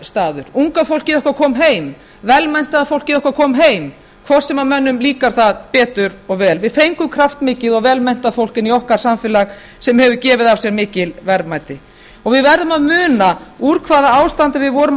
staður unga fólkið okkar kom heim velmenntað fólkið okkar kom heim hvort sem mönnum líkar það betur eða verr við fengum kraftmikið og velmenntað fólk inn í okkar samfélag sem hefur gefið af sér mikil verðmæti við verðum að muna úr hvaða ástandi við vorum